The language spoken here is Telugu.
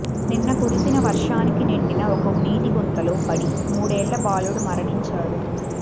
నిన్న కురిసిన వర్షానికి నిండిన ఒక నీటి గుంతలో పడి మూడేళ్ల బాలుడు మరణించాడు